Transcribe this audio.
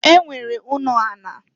E nwere ụnọ ala.